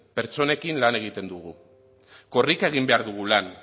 pertsonekin lan egiten dugu korrika egin behar dugu lan